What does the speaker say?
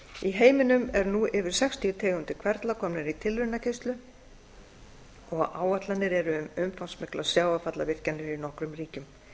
í heiminum eru nú yfir sextíu tegundir hverfla komnar í tilraunakeyrslu og áætlanir eru um umfangsmiklar sjávarfallavirkjanir í nokkrum ríkjum